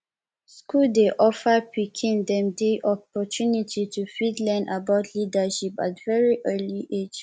school dey offer pikin dem di opportunity to fit learn about leadership at very early age